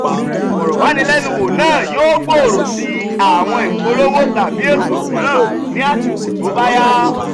ìfọ̀rọ̀wánilẹ́nuwò náà yóò gbòòrò sí àwọn ìpolówó tàbí ètò mìíràn ní àsìkò tó bá yá.